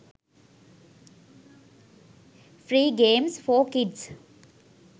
free games for kids